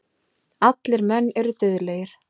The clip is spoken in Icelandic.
Allir menn eru dauðlegir.